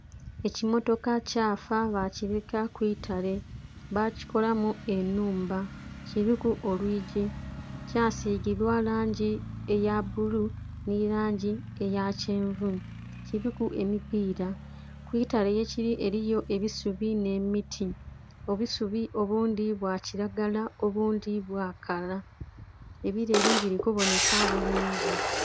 Ekimmotoka kyafa bakireka ku itale. Bakikolamu enhumba, kiliku olwigi. Kyasigibwa langi eya bbulu nhi langi eya kyenvu, kiliku emipiira. Ku itale yekili eliyo ebisubi nh'emiti. Obusubi obundhi bwa kilagala obundhi bwakala, ebileli bili kubonheka bulungi.